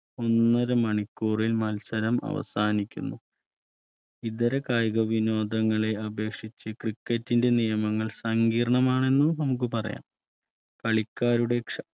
ഒന്നരമണിക്കൂറിൽ മത്സരം അവസാനിക്കുന്നു ഇതര കായിക വിനോദങ്ങളെ അപേക്ഷിച്ച് cricket ന്റെ നിയമങ്ങൾ സങ്കീർണം ആണെന്ന് നമുക്ക് പറയാം കളിക്കാരുടെ ക്ഷമ